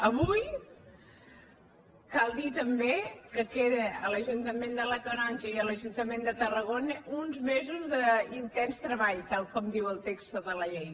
avui cal dir també que queden a l’ajuntament de la canonja i a l’ajuntament de tarragona uns mesos d’intens treball tal com diu el text de la llei